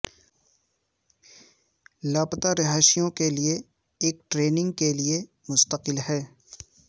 لاپتہ رہائشیوں کے لئے ایک ٹریننگ کے لئے مستقل ہے